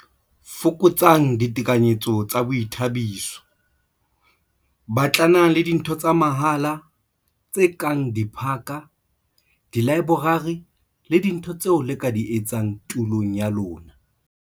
Fokotsang ditekanyetso tsa boithabiso - Batlanang le dintho tsa mahala, tse kang diphaka, dilaeborari le dintho tseo le ka di etsang tulong ya lona.